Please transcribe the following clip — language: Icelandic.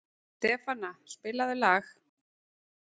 Stefana, spilaðu lag.